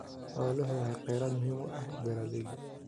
Xooluhu waa kheyraad muhiim u ah beeralayda.